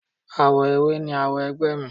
Awo ewé ni awo ẹgbẹ́ mi.